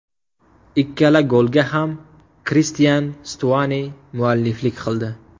Ikkala golga ham Kristian Stuani mualliflik qildi.